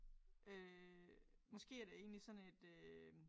Øh måske er det egentlig sådan et øh